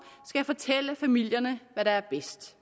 skal fortælle familierne hvad der er bedst